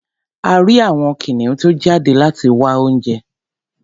A rí àwọn kìnìún tó jáde láti wá oúnjẹ.